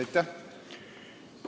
Aitäh!